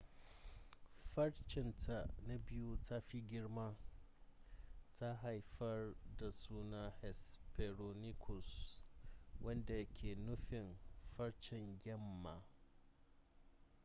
farcen ta na biyu ta fi girma ta haifar da sunan hesperonychus wanda ke nufin farcen yamma